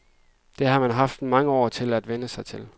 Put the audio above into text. Det har man haft mange år til at vænne sig til.